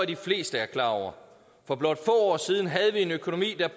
de fleste er klar over for blot år siden havde vi en økonomi der